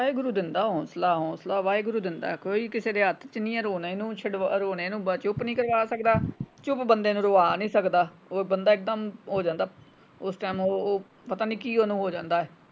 ਵਾਹਿਗੁਰੂ ਦਿੰਦਾ ਹੋਂਸਲਾ ਹੌਂਸਲਾ ਵਾਹਿਗੁਰੂ ਦਿੰਦਾ ਹੈ ਕੋਈ ਕਿਸੇ ਦੇ ਹੱਥ ਚ ਨਹੀਂ ਏ ਰੋਣੇ ਨੂੰ ਛੁਡਵਾ ਰੋਣੇ ਨੂੰ ਚੁੱਪ ਨਹੀਂ ਕਰਵਾ ਸਕਦਾ ਚੁੱਪ ਬੰਦੇ ਨੂੰ ਰਵਾ ਨਹੀਂ ਸਕਦਾ ਉਹ ਬੰਦਾ ਇਕਦਮ ਹੋ ਜਾਂਦਾ ਉਸ ਟਾਈਮ ਉਹ ਪਤਾ ਨਹੀਂ ਕੀ ਓਹਨੂੰ ਹੋ ਜਾਂਦਾ।